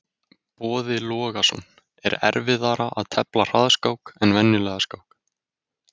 Boði Logason: Er erfiðara að tefla hraðskák en venjulega skák?